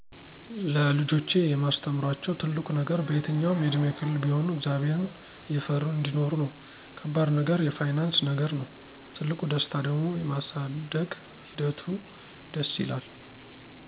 ለልጆቼ የማስተምራቸው ትልቁ ነገር በየትኛውም የእድሜ ክልል ቢሆኑ እግዚአብሔርን እየፈሩ አንዲኖሩ ነው። ከባድ ነገር የፋይናንስ ነገር ነው፤ ትልቁ ደስታ ደሞ የማሳደግ ሒደቱ ደስ ይላል።